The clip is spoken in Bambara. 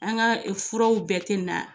An ka furaw bɛɛ te na.